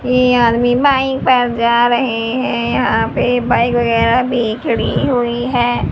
ये आदमी बाइक पर जा रहे है यहां पे बाइक वगैरा भी खड़ी हुई है।